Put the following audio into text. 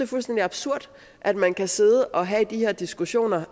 fuldstændig absurd at man kan sidde og have de her diskussioner